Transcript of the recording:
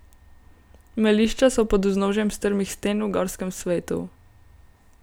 Melišča so pod vznožjem strmih sten v gorskem svetu.